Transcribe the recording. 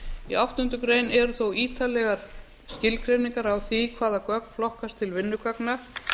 í áttundu greinar eru þó ítarlegar skilgreiningar á því hvaða gögn flokkast til vinnugagna